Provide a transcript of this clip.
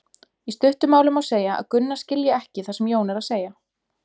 Í stuttu máli má segja að Gunna skilji ekki það sem Jón er að segja.